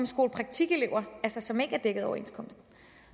skolepraktikelever som jo er dækket af overenskomsten